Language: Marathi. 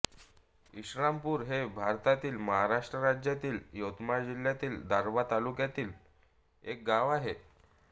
इशरामपूर हे भारतातील महाराष्ट्र राज्यातील यवतमाळ जिल्ह्यातील दारव्हा तालुक्यातील एक गाव आहे